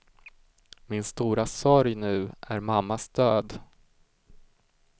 Min stora sorg nu är mammas död.